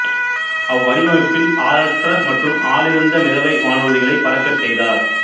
அவ்வடிவமைப்பில் ஆளற்ற மற்றும் ஆளிருந்த மிதவை வானூர்திகளை பறக்கச் செய்தார்